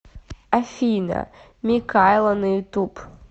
афина микайла на ютуб